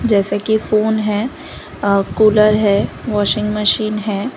जैसे कि फोन है कूलर है वाशिंग मशीन है।